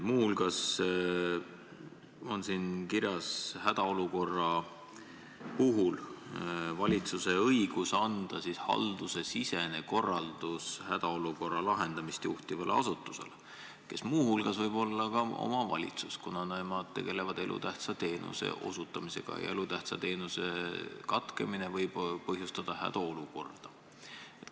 Muu hulgas on siin kirjas valitsuse õigus anda hädaolukorras haldusesisene korraldus hädaolukorra lahendamist juhtivale asutusele, mis muu hulgas võib olla ka kohalik omavalitsus, kuna see tegeleb elutähtsa teenuse osutamisega ja elutähtsa teenuse katkemine võib põhjustada hädaolukorra.